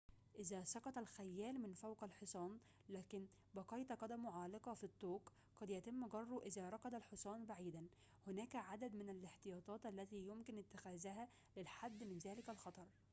إذا سقط الخيّال من فوق الحصان لكن بقيت قدمه عالقة في الطوق قد يتم جره إذا ركض الحصان بعيداً هناك عدد من الاحتياطات التي يمكن اتخاذها للحد من ذلك الخطر